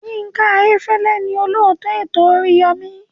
Yinka Ayefele ni olóòtú ètò oríyọmi.